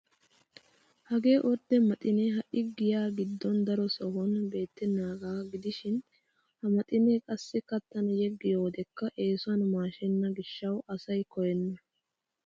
Hagee ordde maxinee ha"i giya giddon daro sohuwan beettennaagaa gidishin ha maxinee qassi kattan yeggiyo wodekka eesuwan maashenna gishshawu asay koyenna.